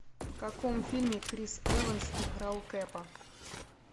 в каком фильме крис эванс играл кэпа